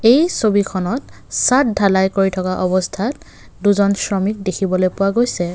এই ছবিখনত চাদ ধালাই কৰি থকা অৱস্থাত দুজন শ্ৰমিক দেখিবলৈ পোৱা গৈছে।